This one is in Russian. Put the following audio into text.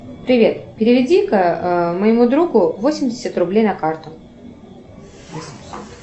привет переведи ка моему другу восемьдесят рублей на карту